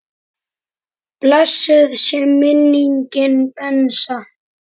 Blessuð sé minning Bensa.